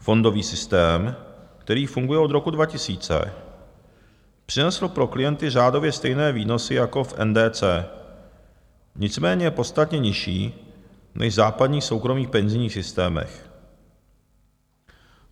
Fondový systém, který funguje od roku 2000, přinesl pro klienty řádově stejné výnosy jako v NDC, nicméně podstatně nižší než v základních soukromých penzijních systémech.